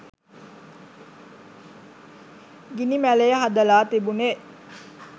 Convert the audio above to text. ගිනි මැලය හදලා තිබුණේ